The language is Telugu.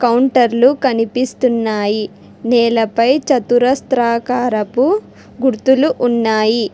కౌంటర్లు కనిపిస్తున్నాయి నేలపై చతురస్త్రాకారపు గుర్తులు ఉన్నాయి.